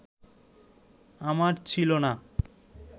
আমার ছিল না